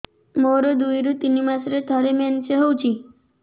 ମୋର ଦୁଇରୁ ତିନି ମାସରେ ଥରେ ମେନ୍ସ ହଉଚି